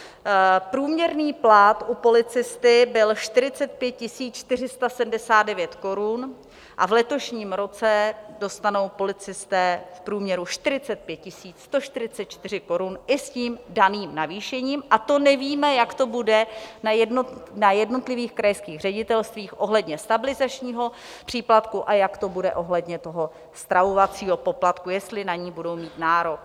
Průměrný plat u policisty byl 45 479 korun a v letošním roce dostanou policisté v průměru 45 144 korun i s tím daným navýšením, a to nevíme, jak to bude na jednotlivých krajských ředitelstvích ohledně stabilizačního příplatku a jak to bude ohledně toho stravovacího poplatku, jestli na ně budou mít nárok.